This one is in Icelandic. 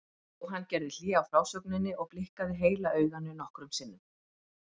Jóhann gerði hlé á frásögninni og blikkaði heila auganu nokkrum sinnum.